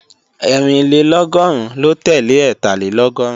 Ẹ́rìnlélọ́gọ́rùn lo tele Ẹ́tàlélọ́gọ́rùn